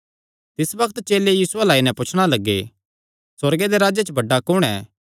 तिस बग्त चेले यीशु अल्ल आई नैं पुछणा लग्गे सुअर्गे दे राज्जे च बड्डा कुण ऐ